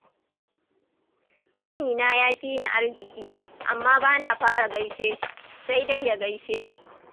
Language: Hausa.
Ƙanina ya fi ni arziƙi, amma bana fara gaishe shi, sai dai ya gaishe ni.